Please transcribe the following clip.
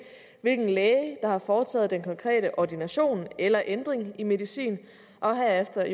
hvilken læge der har foretaget den konkrete ordination af eller ændring i medicin og herefter